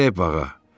Gedək bağa.